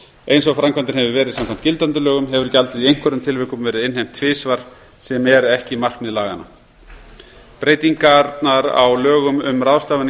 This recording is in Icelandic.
eins og framkvæmdin hefur verið samkvæmt gildandi lögum hefur gjaldið í einhverjum tilvikum verið innheimt tvisvar sem er ekki markmið laganna breytingarnar á lögum um ráðstafanir